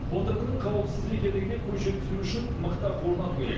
қондырғының қауіпсіз екендігіне көз жеткізу үшін мықтап орнату керек